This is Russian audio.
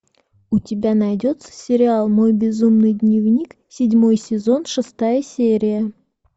у тебя найдется сериал мой безумный дневник седьмой сезон шестая серия